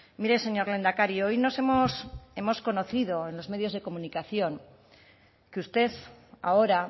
mire señor lehendakari hoy nos hemos hemos conocido en los medios de comunicación que usted ahora